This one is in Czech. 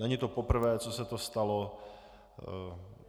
Není to poprvé, co se to stalo.